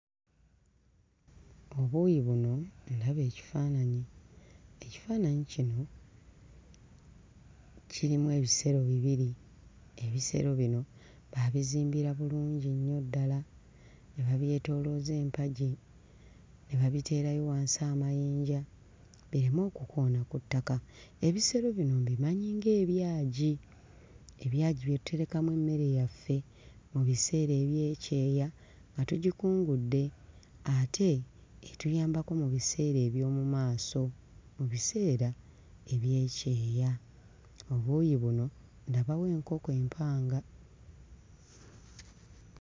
Obuuyi buno ndaba ekifaananyi, ekifaananyi kino kirimu ebisero bibiri. Ebisero bino baabizimbira bulungi nnyo ddala ne babyetoolooza empagi, ne babiteerayo wansi amayinja bireme okukoona ku ttaka. Ebisero bino mbimanyi ng'ebyagi, ebyagi bye tuterekamu emmere yaffe mu biseera eby'ekyeya nga tugikungudde ate etuyambako mu biseera eby'omu maaso, mu biseera eby'ekyeya. Obuuyi buno ndabawo enkoko empanga.